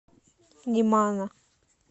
немана